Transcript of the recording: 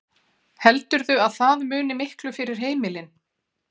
Heldurðu að það muni miklu fyrir heimilin?